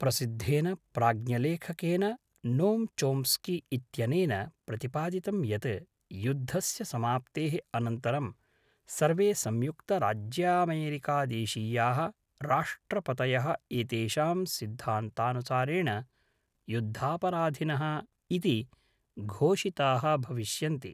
प्रसिद्धेन प्राज्ञलेखकेन Noam Chomsky इत्यनेन प्रतिपादितं यत् युद्धस्य समाप्तेः अनन्तरं सर्वे संयुक्तराज्यामेरिकदेशीयाः राष्ट्रपतयः एतेषां सिद्धान्तानुसारेण युद्धापराधिनः इति घोषिताः भविष्यन्ति।